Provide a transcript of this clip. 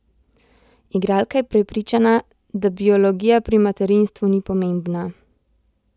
Igralka je prepričana, da biologija pri materinstvu ni pomembna.